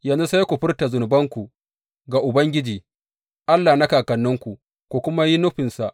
Yanzu sai ku furta zunubanku ga Ubangiji, Allahn kakanninku, ku kuma yi nufinsa.